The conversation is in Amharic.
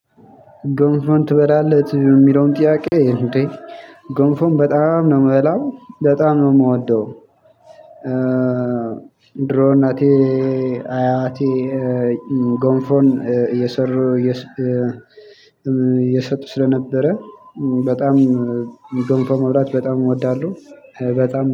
ጎንፎን ትበላለህ የሚለውን ጥያቄ እንዴ? ጎንፎን በጣም ነው የምበላው በጣም ነው የምወደው። ድሮ እናቴ አያቴ ጎንፎን እየሰሩ እየሰጡ ስለነበረ። በጣም ገንፎ መብላት በጣም እወዳለሁ በጣም